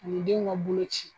An.i denw ka boloci